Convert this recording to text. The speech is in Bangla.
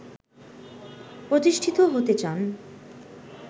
প্রতিষ্ঠিত হতে চান